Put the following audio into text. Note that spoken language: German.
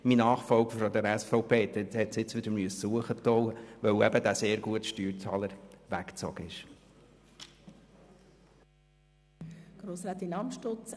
Mein Nachfolger von der SVP musste sie nun wieder erhöhen, weil eben dieser sehr gute Steuerzahler weggezogen ist.